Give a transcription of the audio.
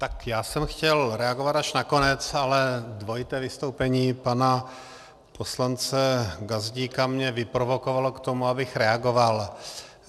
Tak já jsem chtěl reagovat až na konec, ale dvojité vystoupení pana poslance Gazdíka mě vyprovokovalo k tomu, abych reagoval.